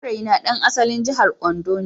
Saurayina ɗan asalin jihar Ondo ne